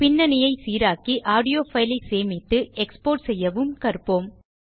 பின்னணியைச் சீராக்கி audio file ஐ சேமித்து எக்ஸ்போர்ட் செய்யவும் கற்போம்